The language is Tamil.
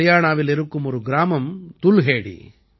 ஹரியாணாவில் இருக்கும் ஒரு கிராமம் துல்ஹேடி